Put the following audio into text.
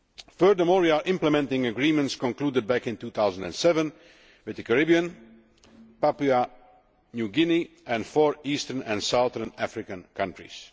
Furthermore we are implementing agreements concluded back in 2007 with the Caribbean, Papua New Guinea and four Eastern and Southern African countries.